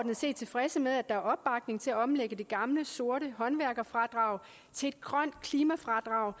set tilfredse med at der er opbakning til at omlægge det gamle sorte håndværkerfradrag til et grønt klimafradrag